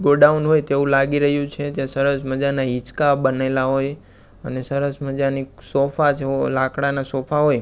godown હોય તેવુ લાગી રહ્યુ છે ત્યાં સરસ મજાના હીચકા બનેલા હોય અને સરસ મજાની સોફા જેવો લાકડાના સોફા હોય--